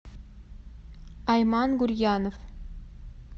айман гурьянов